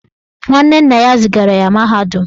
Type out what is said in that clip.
Nwanne nna ya zigara ya mahadum